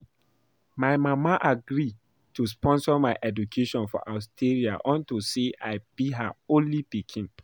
My mama agree to sponsor my education for Austria unto say I be her only pikin